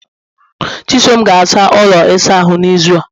chisom ga-asa ụlọ ịsa ahụ n'izu a